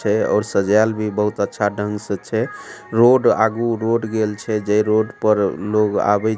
छैऔर सजाल भी बहुत अच्छा ढंग से छै रोड आगू रोड गेल छै जे रोड पर लोग आवे --